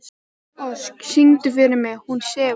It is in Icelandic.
Ósk, syngdu fyrir mig „Hún sefur“.